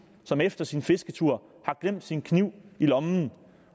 som efter sin fisketur har glemt sin kniv i lommen